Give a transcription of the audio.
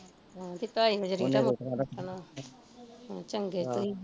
ਢਾਈ ਵਜੇ ਈ ਉੱਠਣਾ ਚੰਗੇ ਤੁਸੀਂ